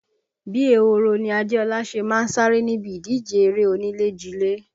Bí ehoro ni Adéọlá ṣe má ń sáré níbi ìdíje erée onílé jilé